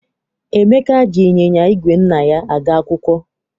Emeka ji ịnyịnya igwe nna ya aga akwụkwọ.